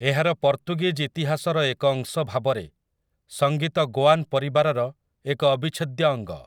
ଏହାର ପର୍ତ୍ତୁଗୀଜ୍ ଇତିହାସର ଏକ ଅଂଶ ଭାବରେ, ସଂଗୀତ ଗୋଆନ୍ ପରିବାରର ଏକ ଅବିଚ୍ଛେଦ୍ୟ ଅଙ୍ଗ ।